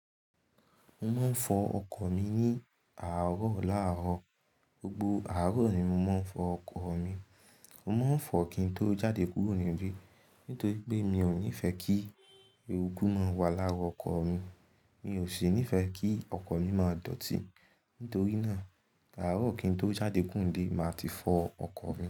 Mo máa ń fọ ọkọ̀ mi ní àárọ̀ làárọ̀. Gbogbo àárọ̀ ni mo máa ń fọ ọkọ̀ mi. Mo mo n fọ kín tó jáde kúrò nílé nítorí pé mi ò nífẹ kí eéruku máa wà lára ọkọ̀ mi. Mi ò sì nífẹ kí ọkọ̀ mi máa dọ̀tí. Nítorí náà, àárọ̀ kín tó jáde kúrò nílé, màá ti fọ ọkọ̀ mi.